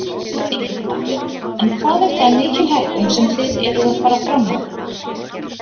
Elín Margrét: En hvað er það mikil hækkun sem þið eruð að fara fram á?